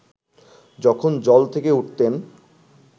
যখন জল থেকে উঠতেন